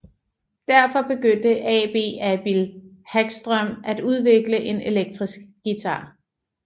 Derfor begyndte AB Albin Hagström at udvikle en elektrisk guitar